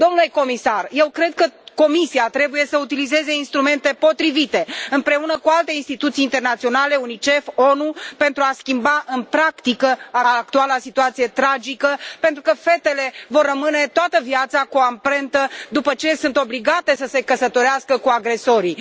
Domnule Comisar, eu cred că Comisia trebuie să utilizeze instrumente potrivite, împreună cu alte instituții internaționale, Unicef, ONU, pentru a schimba în practică actuala situație tragică, pentru că fetele vor rămâne toată viața cu amprentă după ce sunt obligate să se căsătorească cu agresorii.